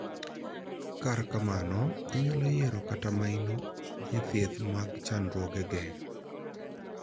Kar mano, inyalo yiero keto maino e thieth mag chandruogege.